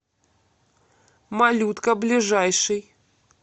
малютка ближайший